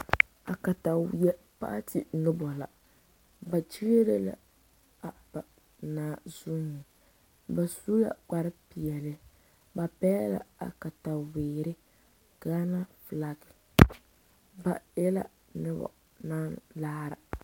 A kataweɛ paati noba la ba kyiere la a ba naa zuiŋ ba su la kparepeɛlle ba pɛgle la a kataweere gaana flag ba e la noba naŋ laara.